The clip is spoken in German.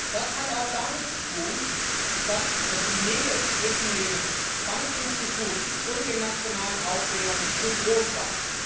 Das hat auch damit zu tun, dass die Nähe zwischen den Bankinstituten und den nationalen Aufsehern zu groß war.